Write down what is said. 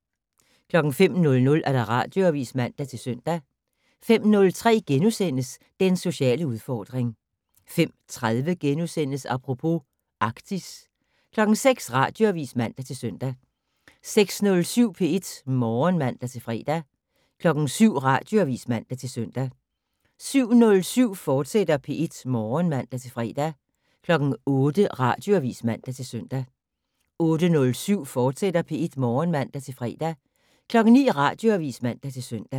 05:00: Radioavis (man-søn) 05:03: Den sociale udfordring * 05:30: Apropos - Arktis * 06:00: Radioavis (man-søn) 06:07: P1 Morgen (man-fre) 07:00: Radioavis (man-søn) 07:07: P1 Morgen, fortsat (man-fre) 08:00: Radioavis (man-søn) 08:07: P1 Morgen, fortsat (man-fre) 09:00: Radioavis (man-søn)